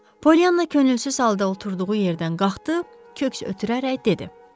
Polyanna könülsüz halda oturduğu yerdən qalxdı, köks ötürərək dedi: